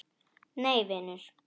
Nei vinur.